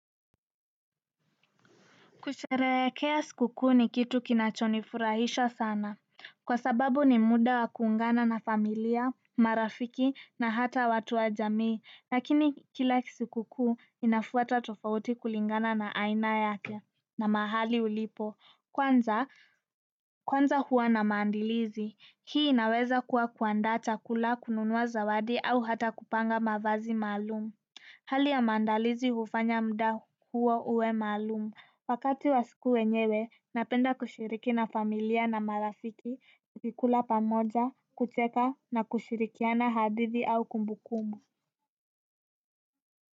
Kusherehekea siku kuu ni kitu kinachonifurahisha sana. Kwa sababu ni muda wa kuungana na familia, marafiki na hata watu wa jamii. Lakini kila siku kuu inafuata tofauti kulingana na aina yake na mahali ulipo. Kwanza huwa na maandalizi. Hii inaweza kuwa kuandaa chakula, kununuwa zawadi au hata kupanga mavazi maalumu. Hali ya maandalizi hufanya muda huo uwe maalumu, wakati wa siku yenyewe napenda kushiriki na familia na marafiki, kukula pamoja, kucheka na kushirikiana hadithi au kumbukumbu.